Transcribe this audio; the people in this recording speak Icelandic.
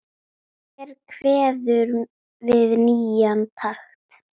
Hér kveður við nýjan takt.